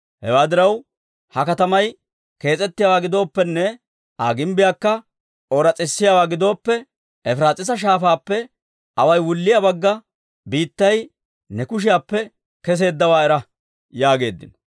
Hewaa diraw, ha katamay kees's'ettiyaawaa gidooppenne Aa gimbbiyaakka ooras's'isiyaawaa gidooppe, Efiraas'iisa Shaafaappe awaay wulliyaa Bagga Biittay ne kushiyaappe kesseeddawaa era» yaageeddino.